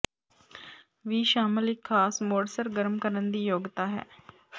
ਵੀ ਸ਼ਾਮਲ ਇੱਕ ਖਾਸ ਮੋਡ ਸਰਗਰਮ ਕਰਨ ਦੀ ਯੋਗਤਾ ਹੈ